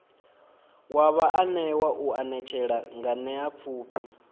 wa vhaanewa u anetshela nganeapfhufhi